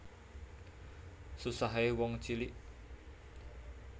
Susahe wong cilik